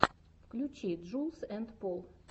включи джулз энд пол